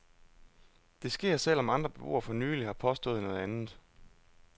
Det sker, selv om andre beboere for nyligt har påstået noget andet.